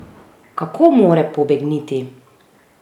Kako more pobegniti?